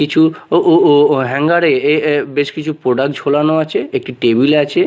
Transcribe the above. কিছু ও-ও-ও হ্যাঙ্গারে এ-এ বেশ কিছু প্রোডাক্ট ঝোলানো আছে একটি টেবিল আছে।